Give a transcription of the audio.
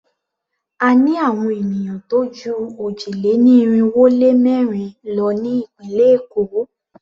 A ní àwon ènìyàn tó jú òjì-lé-ní-irinwó-lé-mẹ́rin lọ ní ìpínlẹ̀ Èkó.